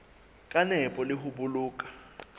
ka nepo le ho boloka